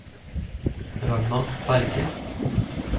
Ragna Berge